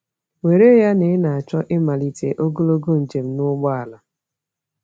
Were ya na ị na-achọ ịmalite ogologo njem n’ụgbọala.